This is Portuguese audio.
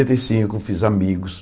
e cinco fiz amigos.